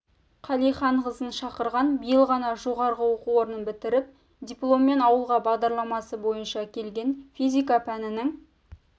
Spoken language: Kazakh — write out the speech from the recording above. қалиханқызын шақырған биыл ғана жоғары оқу орнын бітіріп дипломмен ауылға бағдарламасы бойынша келген физика пәнінің